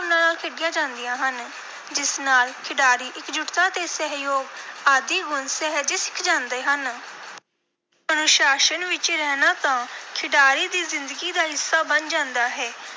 ਭਾਵਨਾ ਨਾਲ ਖੇਡੀਆਂ ਜਾਂਦੀਆਂ ਹਨ, ਜਿਸ ਨਾਲ ਖਿਡਾਰੀ ਇਕਜੁੱਟਤਾ ਤੇ ਸਹਿਯੋਗ ਆਦਿ ਗੁਣ ਸਹਿਜੇ ਸਿੱਖ ਜਾਂਦੇ ਹਨ। ਅਨੁਸ਼ਾਸਨ ਵਿਚ ਰਹਿਣਾ ਤਾਂ ਖਿਡਾਰੀ ਦੀ ਜ਼ਿੰਦਗੀ ਦਾ ਹਿੱਸਾ ਬਣ ਜਾਂਦਾ ਹੈ,